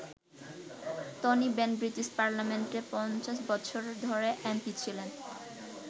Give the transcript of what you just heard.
Tony Benn British পার্লামেন্টে ৫০ বছর ধরে এমপি ছিলেন।